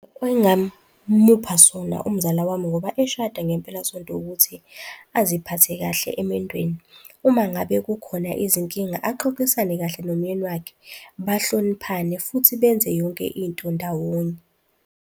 Engingamupha sona umzala wami ngoba eshada ngempelasonto ukuthi aziphathe kahle emendweni. Uma ngabe kukhona izinkinga axoxisane kahle nomyeni wakhe, bahloniphane futhi benze yonke into ndawonye.